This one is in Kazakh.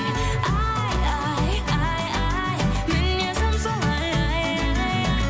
ай ай ай ай мінезім солай ай ай ай